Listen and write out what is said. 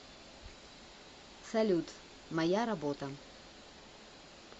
салют моя работа